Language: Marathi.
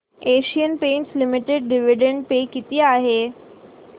Asian Paints Limited dividend pay किती आहे